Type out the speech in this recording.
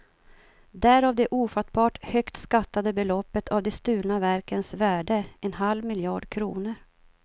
Därav det ofattbart högt skattade beloppet av de stulna verkens värde, en halv miljard kronor.